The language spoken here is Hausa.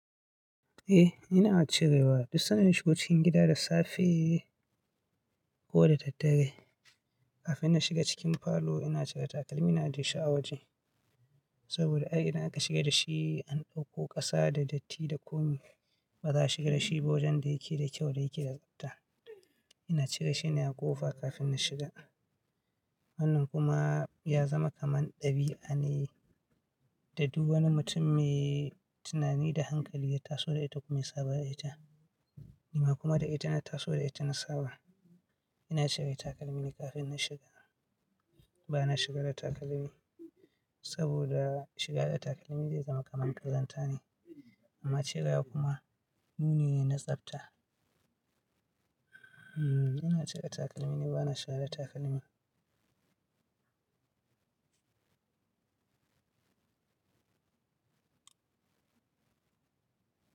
Eh, ina cirewa. Duk san da na shigo cikin gida da safe ko da daddare. Kafin na shiga cikin falo ina cire takalmi na ajiye shi a waje. Saboda ai idan aka shiga da shi an ɗauko ƙasa da datti da komi. Ba za a shiga da shi ba wajen da yake da kyau da yake da tsabta. Ina cire shi na a ƙofa kafin na shiga. Sannan kuma ya zama kaman ɗabi'a ne. Da duk wani mutum mai tunani da hankali ya taso da ita kuma ya saba da ita. Ni ma kuma da ita na taso da ita na saba. Ina cire takalmi ne kafin na shiga. Ba na shiga da takalmi saboda shiga da takalmi zai zama kaman ƙazanta ne. Amma cirewa kuma muni ne na tsabta. Ina cire takalmi ne ba na shiga da takalmi.